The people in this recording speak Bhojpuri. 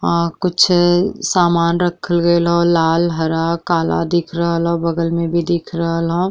अ कुछ सामान रखल गइल ह। लाल हरा काला दिख रहल बगल मे भी दिख रहल ह।